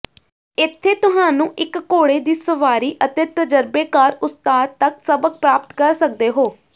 ਇੱਥੇ ਤੁਹਾਨੂੰ ਇੱਕ ਘੋੜੇ ਦੀ ਸਵਾਰੀ ਅਤੇ ਤਜਰਬੇਕਾਰ ਉਸਤਾਦ ਤੱਕ ਸਬਕ ਪ੍ਰਾਪਤ ਕਰ ਸਕਦੇ ਹੋ